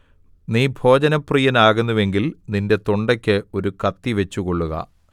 നീ ഭോജനപ്രിയൻ ആകുന്നുവെങ്കിൽ നിന്റെ തൊണ്ടയ്ക്ക് ഒരു കത്തി വച്ചുകൊള്ളുക